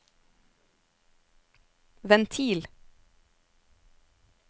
ventil